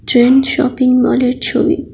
Trends shopping mall এর ছবি।